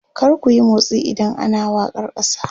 kar kuyi motsi idan ana wakar kasa!